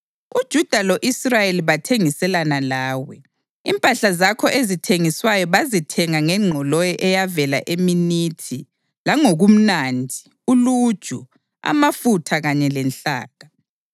UJuda lo-Israyeli bathengiselana lawe; impahla zakho ezithengiswayo bazithenga ngengqoloyi eyavela eMinithi langokumnandi, uluju, amafutha kanye lenhlaka.